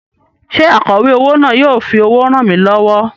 Ṣé akọ̀wé owó náà yóò fi owó ràn mí lọ́wọ́?